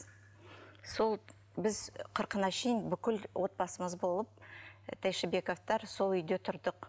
сол біз қырқына шейін бүкіл отбасымыз болып тәйшибековтар сол үйде тұрдық